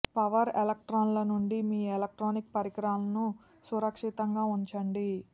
power ఎలక్ట్రాన్ల నుండి మీ ఎలక్ట్రానిక్ పరికరాలను సురక్షితంగా ఉంచండి